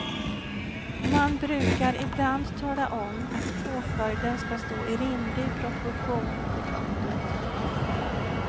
Man brukar ibland tala om att påföljden ska stå i rimlig proportion till brottet.